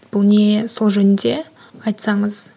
бұл не сол жөнінде айтсаңыз